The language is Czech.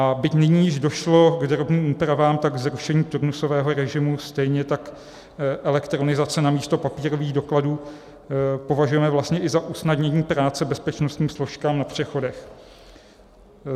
A byť nyní již došlo k drobným úpravám, tak zrušení turnusového režimu, stejně tak elektronizaci namísto papírových dokladů považujeme vlastně i za usnadnění práce bezpečnostním složkám na přechodech.